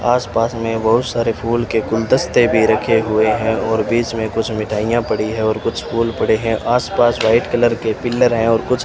आस-पास में बहुत सारे फूल के गुलदस्ते भी रखे हुए हैं और बीच में कुछ मिठाइयां पड़ी है और कुछ फूल पड़े हैं आस-पास व्हाइट कलर के पिलर हैं और कुछ --